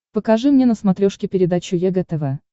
покажи мне на смотрешке передачу егэ тв